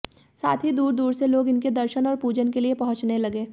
साथ ही दूर दूर से लोग इनके दर्शन और पूजन के लिए पहुंचने लगे